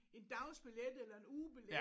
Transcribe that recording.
En dagsbillet eller en ugebillet